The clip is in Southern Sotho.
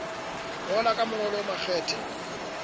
ngola ka mongolo o makgethe